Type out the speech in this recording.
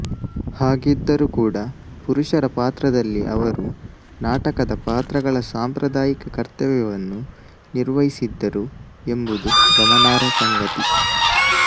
ಹಾಗಿದ್ದರೂ ಕೂಡ ಪುರುಷರ ಪಾತ್ರದಲ್ಲಿ ಅವರು ನಾಟಕದ ಪಾತ್ರಗಳ ಸಾಂಪ್ರದಾಯಿಕ ಕರ್ತವ್ಯವನ್ನು ನಿರ್ವಹಿಸಿದ್ದರು ಎಂಬುದು ಗಮನಾರ್ಹ ಸಂಗತಿ